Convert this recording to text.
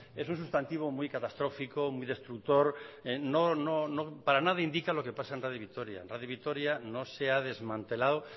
es un substantivo muy catastrófico muy destructor para nada indica que lo pasa en radio vitoria radio vitoria no se ha desmantelado